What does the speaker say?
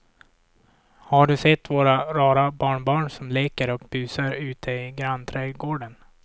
Har du sett våra rara barnbarn som leker och busar ute i grannträdgården!